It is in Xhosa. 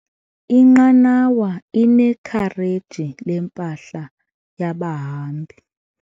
Inqanawa inekhareji lempahla yabahambi.